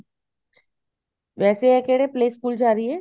ਵੈਸੇ ਐ ਕਿਹੜੇ play ਸਕੂਲ ਜਾ ਰਹੀ ਹੈ